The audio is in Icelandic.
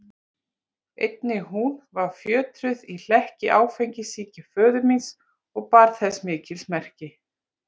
Einnig hún var fjötruð í hlekki áfengissýki föður míns og bar þess mikil merki.